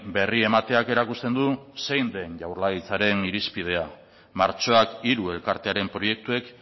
berri emateak erakusten du zein den jaurlaritzaren irizpidea martxoak hiru elkartearen proiektuek